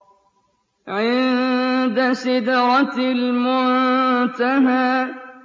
عِندَ سِدْرَةِ الْمُنتَهَىٰ